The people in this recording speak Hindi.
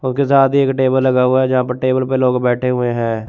उके साथ ही एक टेबल लगा हुआ है जहां पे टेबल पे लोग बैठे हुए हैं।